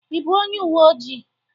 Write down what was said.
Ị bụ onye uwe ojii?